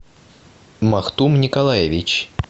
махтум николаевич